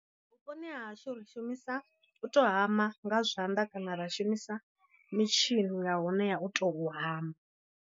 Vhuponi ha hashu ri shumisa u to hama nga zwanḓa kana ra shumisa mitshini ya hone ya u tou hama.